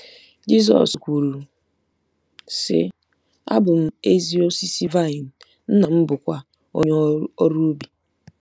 Jizọs kwuru, sị: “ Abụ m ezi osisi vaịn, Nna m bụkwa onye ọrụ ubi.